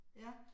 Ja